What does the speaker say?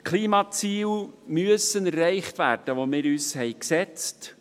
Die Klimaziele, die wir uns gesetzt haben, müssen erreicht werden.